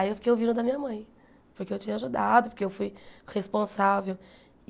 Aí eu fiquei ouvindo da minha mãe, porque eu tinha ajudado, porque eu fui responsável.